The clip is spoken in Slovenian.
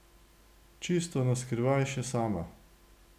Čisto na skrivaj še sama.